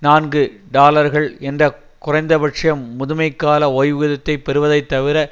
நான்கு டாலர்கள் என்ற குறைந்தபட்ச முதுமைக்கால ஓய்வூதியத்தை பெறுவதை தவிர